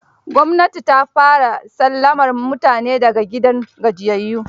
Gwamnati ta fara sallamar mutane da ga gidajen gajiyayyun.